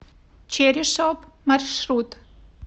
черри шоп маршрут